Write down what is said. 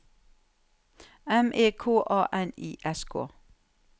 M E K A N I S K